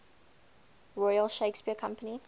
royal shakespeare company